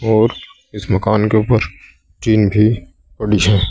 और इस मकान के ऊपर टीन भी पड़ी है।